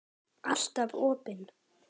Alltaf opin.